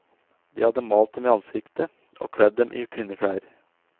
De hadde malt dem i ansiktet og kledd dem i kvinneklær.